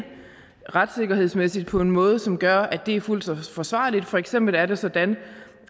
retssikkerhedsmæssigt på en måde som gør at det er fuldt forsvarligt for eksempel er det sådan